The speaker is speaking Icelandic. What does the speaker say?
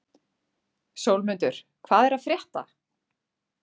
Sólmundur, hvað er að frétta?